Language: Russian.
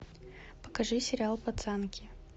покажи сериал пацанки